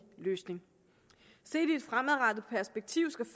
løsning set i et fremadrettet perspektiv skal